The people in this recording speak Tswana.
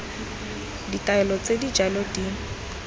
ditaelo tse di jalo di